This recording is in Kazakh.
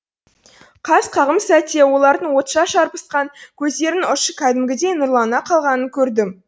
қас қағым сәтте олардың отша шарпысқан көздерінің ұшы кәдімгідей нұрлана қалғанын көрдім